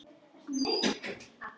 Hún sá ekkert nema hann!